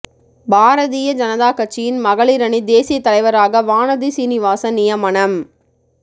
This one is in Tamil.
பாரதிய ஜனதா கட்சியின் மகளிர் அணி தேசிய தலைவராக வானதி சீனிவாசன் நியமனம்